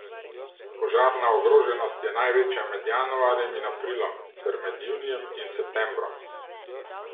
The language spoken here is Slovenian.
Požarna ogroženost je največja med januarjem in aprilom ter med junijem in septembrom.